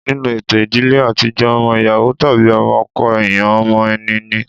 Nínú ètò ìdílé àtijọ́ ọmọ ìyàwó tàbí ọmọ ọkọ èèyàn ọmọ ẹni ni